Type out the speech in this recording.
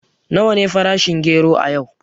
Nawa ne farashin gero a yau?